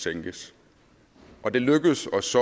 sænkes og det lykkedes os